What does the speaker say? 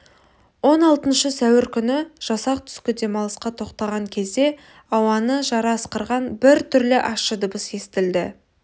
он алтыншы сәуір күні жасақ түскі демалысқа тоқтаған кезде ауаны жара ысқырған бір түрлі ащы дыбыс естілді